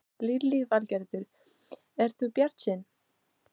Lillý Valgerður: Ert þú bjartsýn?